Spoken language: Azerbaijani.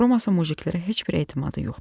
Romasın mujiklərə heç bir etimadı yoxdur.